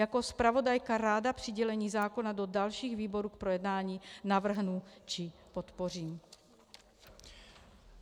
Jako zpravodajka ráda přidělení zákona do dalších výborů k projednání navrhnu či podpořím.